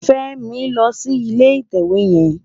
Femi ló ni ilé itèwé yèn